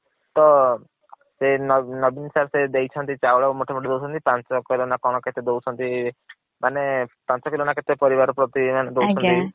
ତ ସେଇ ନବୀନ sir ସେଇ ଦେଇଛନ୍ତି ଚାଉଳ ମୁଠେ ମୁଠେ ଦୌଛନ୍ତି ପାଂଚ କିଲ ନା କଣ କେତେ ଦୌଛନ୍ତି ମାନେ ପାଂଚ କିଲ ନା କଣ ପରିବାର ପ୍ରତି ଦୌଛନ୍ତି । ଆଜ୍ଞା ।